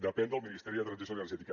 depèn del ministeri de transició energètica